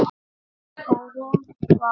Og hún var